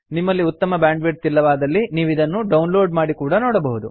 ನಿಮ್ಮಲ್ಲಿ ಉತ್ತಮ ಬ್ಯಾಂಡ್ವಿಡ್ಥ್ ಇಲ್ಲವಾದಲ್ಲಿ ನೀವಿದನ್ನು ಡೌನ್ಲೋಡ್ ಮಾಡಿ ಕೂಡಾ ನೋಡಬಹುದು